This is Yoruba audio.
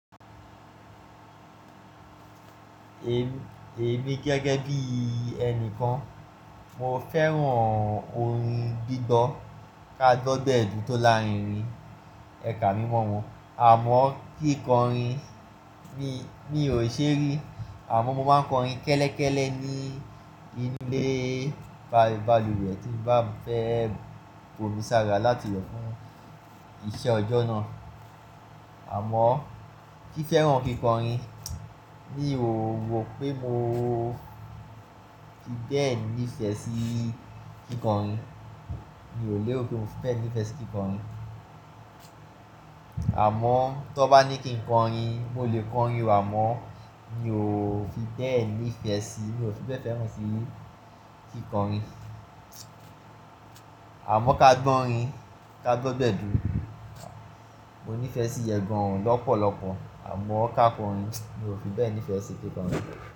Èmi gẹ́gẹ́ bí ẹni kan, mo fẹ́ràn orin gbígbọ́ kágbọ́gbẹ̀dú tó láàárín rin ẹ̀ka mímọ wọn, àmọ́ kíkọrin mi ò ṣe rí. Àmọ́ mo máa ń kọrin kẹ́lẹ́kẹ́lẹ́ ní ilé balùwẹ̀ tí n bá fẹ́ bomisára láti we fún iṣẹ́ ọjọ́ náà. Àmọ́ fí fẹ́ràn kíkọrin, mi ò rọ pé mo fi bẹ́ẹ̀ nífẹ̀ẹ́ sí kíkọrin. Mi ò lè rọ pé mo fi bẹ́ẹ̀ nífẹ̀ẹ́ sí kíkọrin. Àmọ́ tó bá ní kí n kọrin, mo lè kọrin wà, àmọ́ mi ò fi bẹ́ẹ̀ nífẹ̀ẹ́ sí, mi ò fi bẹ́ẹ̀ fẹ́ràn sí kíkọrin. Àmọ́ kágbọ́ orin kágbọ́gbẹ̀dú, mo nífẹ̀ẹ́ sí yen gan-an lọ́pọ̀lọpọ̀, àmọ́ ká kọrin, mi ò fi bẹ́ẹ̀ nífẹ̀ẹ́ sí kíkọrin.